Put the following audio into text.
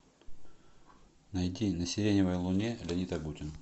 найди на сиреневой луне леонид агутин